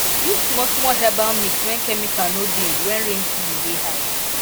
use smallsmall herbal mix when chemical no dey when rain season dey high